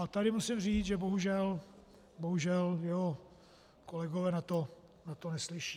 A tady musím říct, že bohužel jeho kolegové na to neslyší.